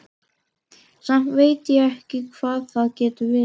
Samt veit ég ekki hvað það getur verið.